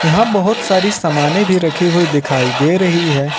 अब बहुत सारी सामाने भी रखी हुई दिखाई दे रही है।